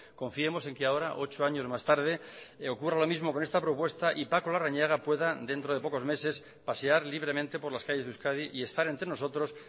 confiemos en que ahora ocho años más tarde ocurra lo mismo con esta propuesta y paco larrañaga pueda dentro de pocos meses pasear libremente por las calles de euskadi y estar entre nosotros